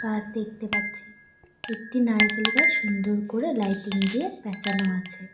গাছ দেখতে পাচ্ছি একটি নারকেল গাছ সুন্দর করে লাইটিং দিয়ে প্যাঁচানো আছে।